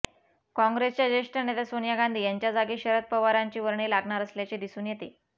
काँग्रेसच्या ज्येष्ठ नेत्या सोनिया गांधी यांच्या जागी शरद पवारांची वर्णी लागणार असल्याचे दिसून येते